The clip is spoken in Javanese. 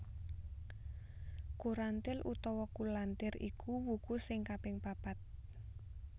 Kurantil utawa Kulantir iku wuku sing kaping papat